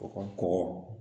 U ka kɔkɔ